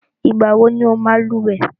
Ìgbà wọ ní ọ máa lúwẹ̀ẹ́?